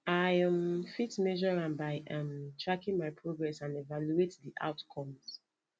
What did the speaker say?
i um fit measure am by um tracking my progress and evaluate di outcomes